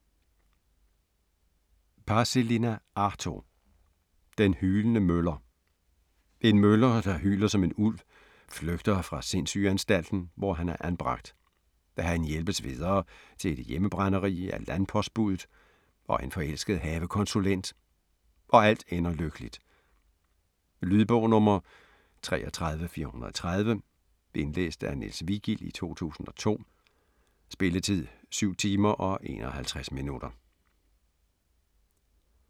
Paasilinna, Arto: Den hylende møller En møller, der hyler som en ulv, flygter fra sindssygeanstalten, hvor han er anbragt. Han hjælpes videre til et hjemmebrænderi af landpostbudet og en forelsket havekonsulent, og alt ender lykkeligt. Lydbog 33430 Indlæst af Niels Vigild, 2002. Spilletid: 7 timer, 51 minutter.